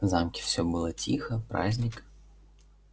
в замке все было тихо праздник